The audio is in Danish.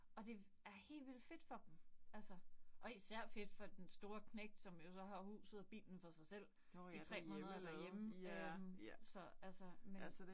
Og det er helt vildt fedt for dem altså og især fedt for den store knægt, som jo så har huset og bilen for sig selv i 3 måneder derhjemme øh så altså men